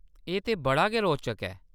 एह्‌‌ तां बड़ा गै रोचक ऐ।